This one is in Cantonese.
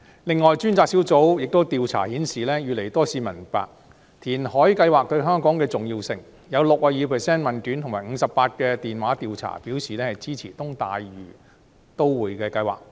此外，專責小組的調查亦顯示，越來越多市民明白填海計劃對香港的重要性，有 62% 的問卷及 58% 的電話調查表示支持東大嶼都會計劃。